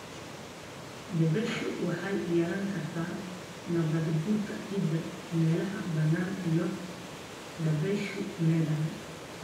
Dabayshu waxay yarayn kartaa nabaadguurka ciidda meelaha bannaan iyo dabayshu leedahay.